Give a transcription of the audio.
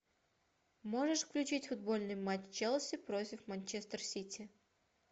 можешь включить футбольный матч челси против манчестер сити